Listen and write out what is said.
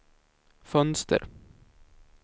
fönster